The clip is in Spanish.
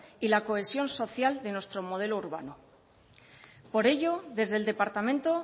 y la cohesión social de nuestro modelo urbano por ello desde el departamento